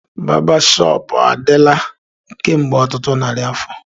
Barbershop adịla kemgbe ọtụtụ narị afọ